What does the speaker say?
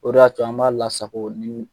O de y'a to an b'a lasako ni